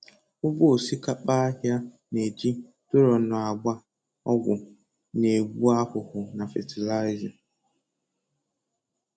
Ugbo osikapa ahịa na-eji duronu agba ọgwụ na-egbu ahụhụ na fatịlaịza.